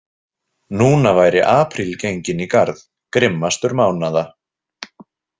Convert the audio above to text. Núna væri apríl genginn í garð, grimmastur mánaða.